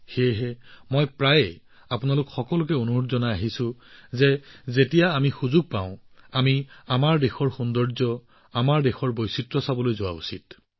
সেইবাবেই মই আপোনালোক সকলোকে প্ৰায়ে আহ্বান জনাইছো যে যেতিয়াই আমি সুযোগ পাওঁ তেতিয়াই আমি আমাৰ দেশৰ সৌন্দৰ্য্য আৰু বৈচিত্ৰ্য চাবলৈ যাব লাগে